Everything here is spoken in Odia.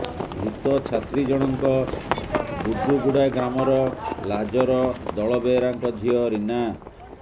ମୃତ ଛାତ୍ରୀ ଜଣଙ୍କ ବୁର୍ଦୁଗୁଡ଼ା ଗ୍ରାମର ଲାଜର ଦଳବେହେରାଙ୍କ ଝିଅ ରୀନା